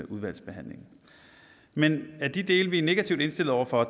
udvalgsbehandlingen men af de dele vi er negativt indstillet over for